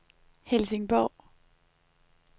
Helsingborg